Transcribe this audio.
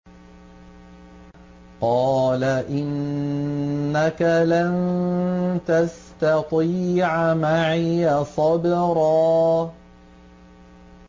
قَالَ إِنَّكَ لَن تَسْتَطِيعَ مَعِيَ صَبْرًا